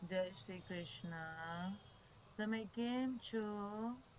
જય શ્રી કૃષ્ણ તમે કેમ છો